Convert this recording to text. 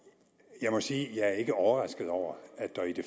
jeg må sige at jeg ikke er overrasket over at der i det